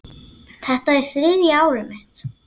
Þetta er þriðja árið mitt.